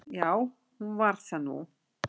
Já, hún varð það nú.